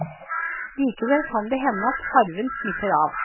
Likevel kan det hende at farven smitter av.